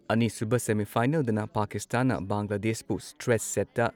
ꯑꯅꯤꯁꯨꯨꯕ semi ꯐꯥꯏꯅꯦꯜꯗꯅ ꯄꯥꯀꯤꯁꯇꯥꯟꯅ ꯕꯪꯒ꯭ꯂꯥꯗꯦꯁꯄꯨ ꯁ꯭ꯇ꯭ꯔꯦꯠ ꯁꯦꯠꯇ